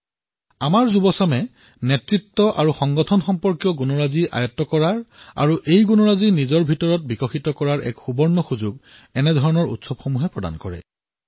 এয়া আমাৰ যুৱপ্ৰজন্মৰ বাবে এক অতুলনীয় অৱকাশ যত তেওঁলোকে নেতৃত্ব আৰু সংস্থাৰ দৰে গুণসমূহ শিকিব পাৰে নিজৰ মাজত বিকশিত কৰিব পাৰে